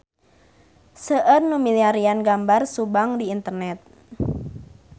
Seueur nu milarian gambar Subang di internet